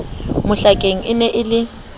mohlakeng e ne e le